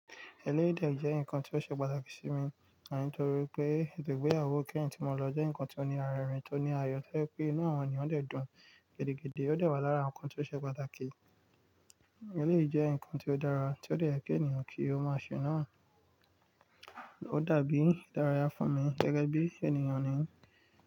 Eléyìí dẹ̀ jẹ́ ǹkan tí ó ṣe pàtàkì sí mi, àní torí pé ètò ìgbéyàwó kẹ́hìn tí mo lọ jẹ́ ǹkan tí ó ní ara rẹ̀ rìn, tí ó ní ayọ̀, tío jẹ́ pé inú àwọn ènìyàn dè dùn gidi gidi, ó de wá lára ǹkan tí ó ṣe pàtàkì. Eléyìí jẹ́ ǹkan tí ó dára, tí ó de yẹ kí ènìyàn kí ó máa ṣe náà. Ó dàbí ìdárayá fún mi gẹ́gẹ́ bí ènìyàn ni.